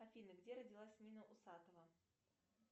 афина где родилась нина усатова